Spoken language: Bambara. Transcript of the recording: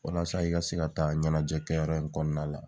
Walasa i ka se ka taa ɲɛnajɛ kɛyɔrɔ in kɔnɔna la.